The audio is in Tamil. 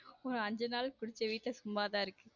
ஒரு அஞ்சு நாள் குடிச்சேன் வீட்ல சும்மா தான் இருக்கு.